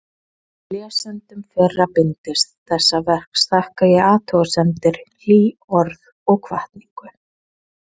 Lesendum fyrra bindis þessa verks þakka ég athugasemdir, hlý orð og hvatningu.